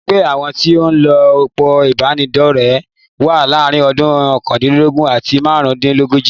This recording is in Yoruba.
Ẹgbẹ́ àwọn tí o ń lo òpó ìbánidọ́rẹ̀ wà láàárín ọdún okandinlogun àti máàrún-dín-lógójì.